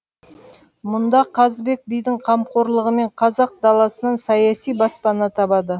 мұнда қазыбек бидің қамқорлығымен қазақ даласынан саяси баспана табады